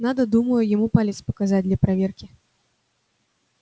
надо думаю ему палец показать для проверки